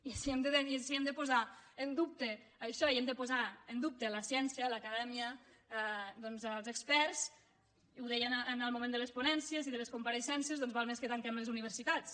i si hem de po·sar en dubte això i hem de posar en dubte la ciència l’acadèmia els experts i ho deia en el moment de les ponències i de les compareixences doncs val més que tanquem les universitats